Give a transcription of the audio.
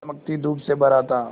चमकती धूप से भरा था